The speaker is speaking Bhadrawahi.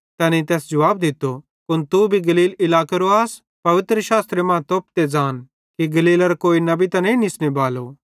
तैनेईं तैस जुवाब दित्तो कुन तू भी गलील इलाकेरो आस पवित्रशास्त्रे मां तोप ते ज़ान कि गलीलेरां कोई नबी त नईं निसने बालो